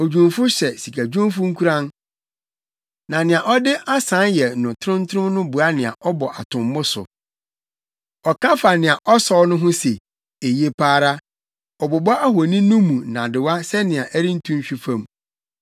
Odwumfo hyɛ sikadwumfo nkuran, na nea ɔde asae yɛ no trontrom boa nea ɔbɔ atommo so. Ɔka fa nea ɔsɔw no ho se, “Eye pa ara.” Ɔbobɔ ohoni no mu nnadewa sɛnea ɛrentu nhwe fam.